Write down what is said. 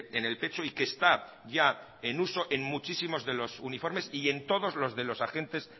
en el pecho y que está ya en uso en muchísimos de los uniformes y en todos los de los agentes